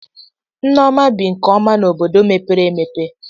Nneoma bi nke ọma n'obodo mepere emepe.